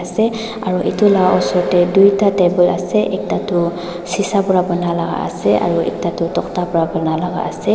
ase aro edu la osor tae tui ta table ase ekta tu sisa pra banai laka ase aro ekta toh tokta pra bana lakaase.